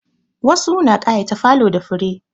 Wasu na ƙayata falo da fure.